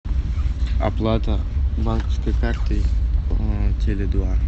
оплата банковской картой теле два